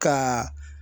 Ka